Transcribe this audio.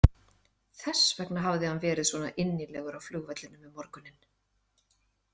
Þess vegna hafði hann verið svona innilegur á flugvellinum um morguninn.